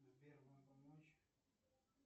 сбер вам помочь